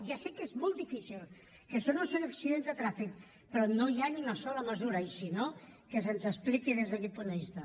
ja sé que és molt difícil que això no són accidents de tràfic però no hi ha una sola mesura i si no que se’ns expliqui des d’aquest punt de vista